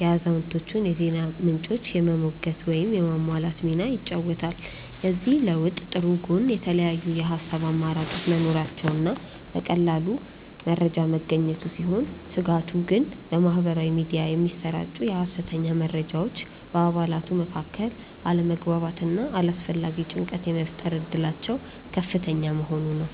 የአዛውንቶቹን የዜና ምንጮች የመሞገት ወይም የማሟላት ሚና ይጫወታል። የዚህ ለውጥ ጥሩ ጎን የተለያዩ የሐሳብ አማራጮች መኖራቸውና መረጃ በቀላሉ መገኘቱ ሲሆን፣ ስጋቱ ግን በማኅበራዊ ሚዲያ የሚሰራጩ የሐሰተኛ መረጃዎች በአባላቱ መካከል አለመግባባትና አላስፈላጊ ጭንቀት የመፍጠር እድላቸው ከፍተኛ መሆኑ ነው።